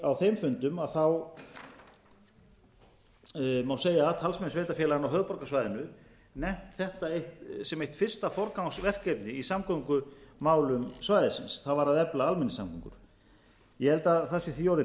á þeim fundum má segja að talsmenn sveitarfélaganna á höfuðborgarsvæðinu nefnt þetta sem eitt fyrsta forgangsverkefni í samgöngumálum svæðisins það var að nefna almenningssamgöngur ég held að það sé því orðið brýnna en